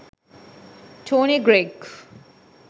tony greig